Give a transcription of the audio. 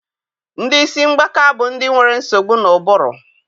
Ndị isi mgbaka bụ ndị nwere nsogbu n'ụbụrụ.